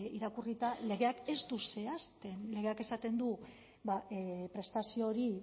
irakurrita legeak ez du zehazten legeak esaten du prestazio hori